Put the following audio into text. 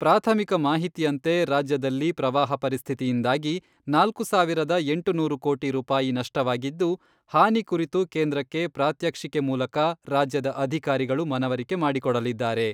ಪ್ರಾಥಮಿಕ ಮಾಹಿತಿಯಂತೆ ರಾಜ್ಯದಲ್ಲಿ ಪ್ರವಾಹ ಪರಿಸ್ಥಿತಿಯಿಂದಾಗಿ ನಾಲ್ಕು ಸಾವಿರದ ಎಂಟುನೂರು ಕೋಟಿ ರೂಪಾಯಿ ನಷ್ಟವಾಗಿದ್ದು, ಹಾನಿ ಕುರಿತು ಕೇಂದ್ರಕ್ಕೆ ಪ್ರಾತ್ಯಕ್ಷಿಕೆ ಮೂಲಕ ರಾಜ್ಯದ ಅಧಿಕಾರಿಗಳು ಮನವರಿಕೆ ಮಾಡಿಕೊಡಲಿದ್ದಾರೆ.